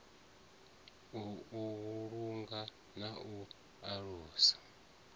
u vhulunga na u alusa